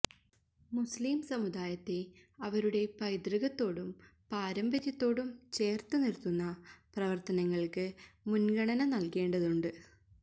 മുസ്ലിം സമുദായത്തെ അവരുടെ പൈതൃകത്തോടും പാരമ്പര്യത്തോടും ചേര്ത്തു നിര്ത്തുന്ന പ്രവര്ത്തനങ്ങള്ക്ക് മുന്ഗണന നല്കേണ്ടതുണ്ട്